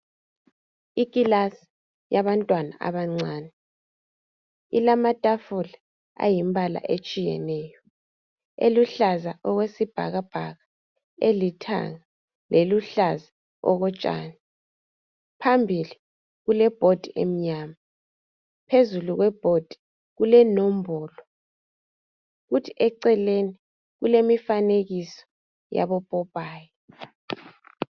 Ikilasi yabantwana abancane. Ilamatafula ayimbala etshiyeneyo. Eluhlaza okwesibhakabhaka, elithanga leluhlaza okotshani. Phambili kulebhodi emnyama. Phezulu kwebhodi kule nombolo kuthi eceleni kulemifanekiso yabopopayi.